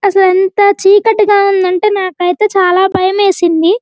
అసలు ఎంత చీకటిగా ఉంది అంటే నాకు అయితే చాలా బయం వేసింది.